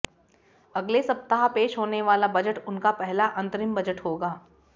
अगले सप्ताह पेश होने वाला बजट उनका पहला अंतरिम बजट होगा